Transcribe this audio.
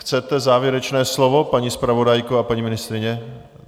Chcete závěrečné slovo, paní zpravodajko a paní ministryně?